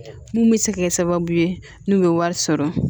Mun bɛ se ka kɛ sababu ye n'u ye wari sɔrɔ